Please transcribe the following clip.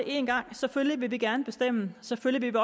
én gang selvfølgelig vil vi gerne bestemme og selvfølgelig vil